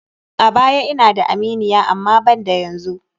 A baya ina da aminiya amma banda yanzu.